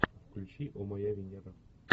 включи о моя венера